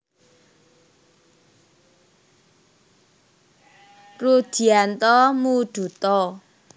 Rudhyanto Mooduto